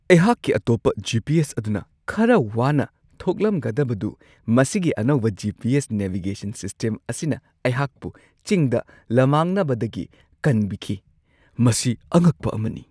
ꯑꯩꯍꯥꯛꯀꯤ ꯑꯇꯣꯞꯄ ꯖꯤ.ꯄꯤ.ꯑꯦꯁ ꯑꯗꯨꯅ ꯈꯔ ꯋꯥꯅ ꯊꯣꯛꯂꯝꯒꯗꯕꯗꯨ ꯃꯁꯤꯒꯤ ꯑꯅꯧꯕ G. P. S. Navigation system ꯑꯁꯤꯅ ꯑꯩꯍꯥꯛꯄꯨ ꯆꯤꯡꯗ ꯂꯝꯃꯥꯡꯅꯕꯗꯒꯤ ꯀꯟꯕꯤꯈꯤ ꯫ ꯃꯁꯤ ꯑꯉꯛꯄ ꯑꯃꯅꯤ !